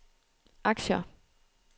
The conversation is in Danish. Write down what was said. aktier